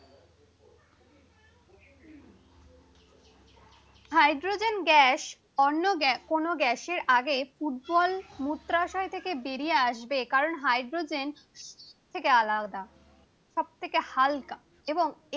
hydrogen gas অন্য কোন গ্যাসের আগে ফুটবল মূত্রাশয় থেকে বেরিয়ে আসবে কারণ হাইড্রোজেন অন্য গ্যাস থেকে থেকে আলাদা সব থেকে হালকা এবং